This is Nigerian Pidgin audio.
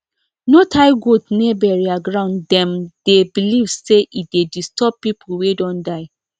no tie goat near burial grounddem dey believe say e dey disturb people wey don die